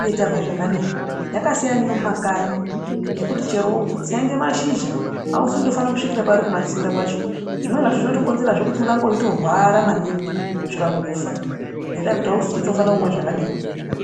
uye tazwe zvakadini. Yakasina neye mumakanyi yekuti chero kutsenga mashizha hauzivi kuti ndofana kusvikira pari kumatsenga kwacho. Zvimweni zvacho zvinotokonzerazve kuti urambe veitorwara maningi kusvika mukufa. Ngendaa yekuti hauzivi kuti unofana kumwa zvakadini.